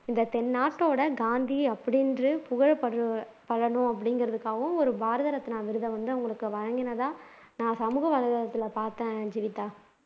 இந்த தென்னாட்டோட காந்தி அப்படின்னு புகழப்படுற படனும் அப்படிங்கிறதுக்காகவும் ஒரு பாரத ரத்னா விருத வந்து அவங்களுக்கு வழங்கினதா நான் பார்த்தேன் ஜீவிதா